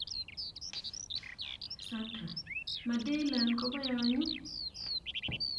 Sandra: 'Ma Daylan koboyonyu?'